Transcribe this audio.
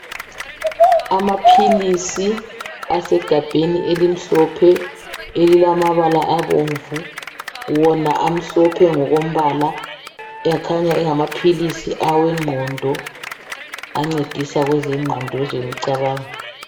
Amaphilisi asegabheni elimhlophe elilamabala abomvu wona amhlophe ngokombala akhanya engamaphilisi awegqondo ancedisa kwezengqondo kwezemicabango.